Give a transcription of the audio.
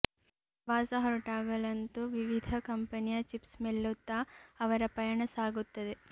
ಪ್ರವಾಸ ಹೊರಟಾಗಲಂತೂ ವಿವಿಧ ಕಂಪನಿಯ ಚಿಪ್ಸ್ ಮೆಲ್ಲುತ್ತ ಅವರ ಪಯಣ ಸಾಗುತ್ತದೆ